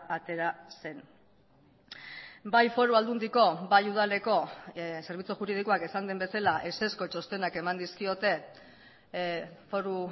atera zen bai foru aldundiko bai udaleko zerbitzu juridikoak esan den bezala ezezko txostenak eman dizkiote foru